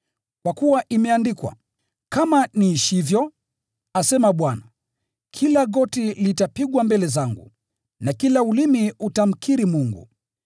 Kwa kuwa imeandikwa: “ ‘Kama vile niishivyo,’ asema Bwana, ‘kila goti litapigwa mbele zangu, na kila ulimi utakiri kwa Mungu.’ ”